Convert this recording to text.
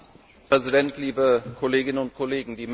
Herr Präsident, liebe Kolleginnen und Kollegen!